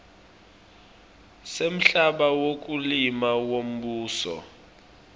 semhlaba wekulima wembuso